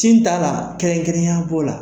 Tin t'a la kɛrɛnkɛrɛnya b'o la.